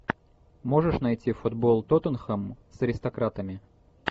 можешь найти футбол тоттенхэм с аристократами